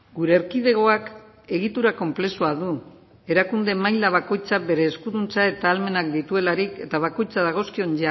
gure erkidegoak egitura konplexua du erakunde maila bakoitzak bere eskuduntza eta ahalmenak dituelarik eta bakoitzak dagozkion